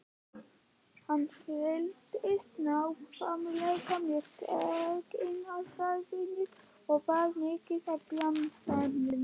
Vigdís og Haukur borðuðu silung í aðalrétt en Helgi og